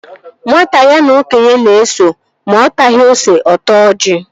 Nwata ya na okenye na-eso, ma ọ taghi ose, ọ taa ọji